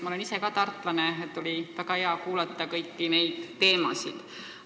Ma olen ise ka tartlane ja oli väga hea kuulata kõiki neid teemasid.